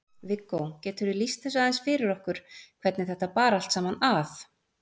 Viggó, geturðu lýst þessu aðeins fyrir okkur hvernig þetta bar allt saman að?